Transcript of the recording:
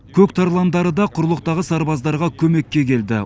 көк тарландары да құрлықтағы сарбаздарға көмекке келді